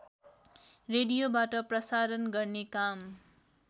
रेडियोबाट प्रसारण गर्ने काम